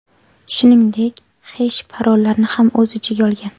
Shuningdek, hesh-parollarni ham o‘z ichiga olgan.